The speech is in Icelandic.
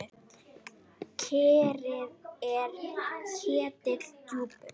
Kerið er ketill djúpur.